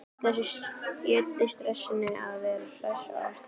Í öllu stressinu að vera hress og afslappaður.